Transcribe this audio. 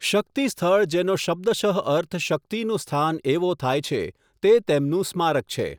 શક્તિ સ્થળ જેનો શબ્દશઃ અર્થ શક્તિનું સ્થાન એવો થાય છે, તે તેમનું સ્મારક છે.